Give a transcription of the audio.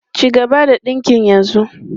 Cigaba da dinkin yanzu!